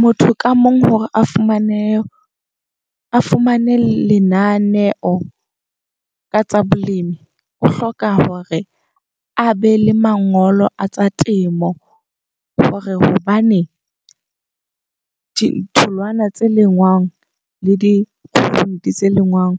Motho ka mong hore a fumane a fumane lenaneo ka tsa bolemi o hloka hore a be le mangolo a tsa temo. Hore hobane ditholwana tse lengwang le di-fruit tse lengwang